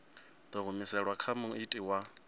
ḓo humiselwa kha muiti wa